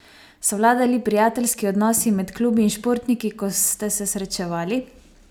So vladali prijateljski odnosi med klubi in športniki, ko ste se srečavali?